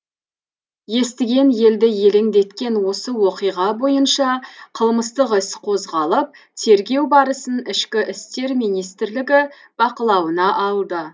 естіген елді елеңдеткен осы оқиға бойынша қылмыстық іс қозғалып тергеу барысын ішкі істер министрлігі бақылауына алды